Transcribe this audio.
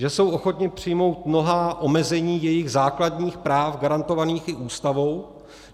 Že jsou ochotni přijmout mnohá omezení svých základních práv, garantovaných i Ústavou.